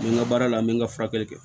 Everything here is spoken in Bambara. N bɛ n ka baara la n bɛ n ka furakɛli kɛ